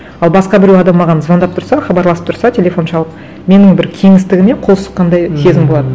ал басқа біреу адам маған звондап тұрса хабарласып тұрса телефон шалып менің бір кеңістігіме қол сұққандай сезім болады